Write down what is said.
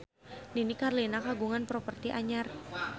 Nini Carlina kagungan properti anyar